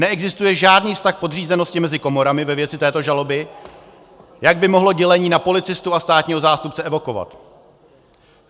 Neexistuje žádný vztah podřízenosti mezi komorami ve věci této žaloby, jak by mohlo dělení na policistu a státního zástupce evokovat.